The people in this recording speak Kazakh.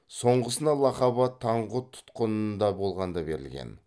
соңғысына лақап ат таңғұт тұтқынында болғанда берілген